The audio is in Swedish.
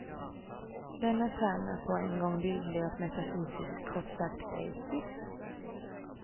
Denna term är på en gång bildlig och metafysisk kort sagt, grekisk.